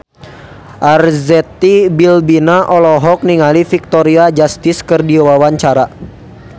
Arzetti Bilbina olohok ningali Victoria Justice keur diwawancara